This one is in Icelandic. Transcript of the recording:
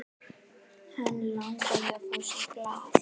Hann lagði frá sér blaðið.